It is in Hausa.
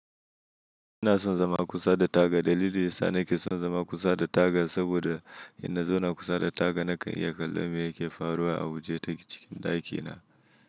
Ina son zama kusa da taga. Dalili yasa nake son zama kusa da taga saboda idan na zauna kusa da taga nakan iya kallon me yake faruwa a waje ta cikin ɗakina.